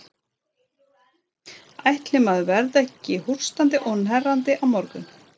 Ætli maður verði ekki hóstandi og hnerrandi á morgun.